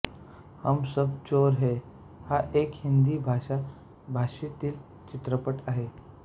हम सब चोर हैं हा एक हिंदी भाषा भाषेतील चित्रपट आहे